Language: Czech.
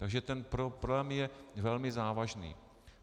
Takže ten problém je velmi závažný.